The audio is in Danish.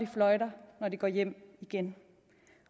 fløjter når de går hjem igen